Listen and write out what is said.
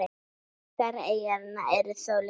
Margar eyjanna eru þó litlar.